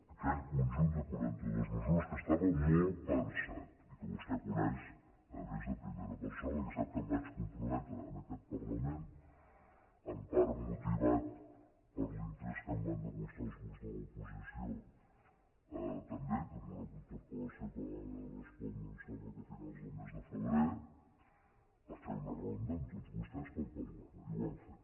aquell conjunt de quaranta·dues me·sures que estava molt pensat i que vostè coneix a més en primera persona perquè sap que em vaig comprome·tre en aquest parlament en part motivat per l’interès que em van demostrar els grups de l’oposició també en una interpel·lació que vam haver de respondre em sembla que a finals del mes de febrer a fer una ronda amb tots vostès per parlar·ne i ho vam fer